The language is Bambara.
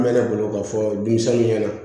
An mɛ ne bolo ka fɔ denmisɛnninw ɲɛna